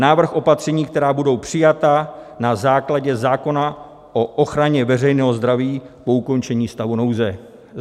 Návrh opatření, která budou přijata na základě zákona o ochraně veřejného zdraví po ukončení stavu nouze.